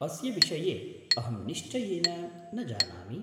अस्य विषये अहं निश्चयेन न जानामि।